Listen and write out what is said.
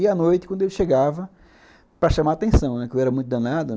E a noite, quando ele chegava, para chamar atenção, porque eu era muito danado.